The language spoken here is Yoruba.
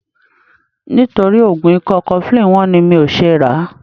Nítorí oògùn ikọ́ cofflin wọ́n ni mi ò ṣe ràá.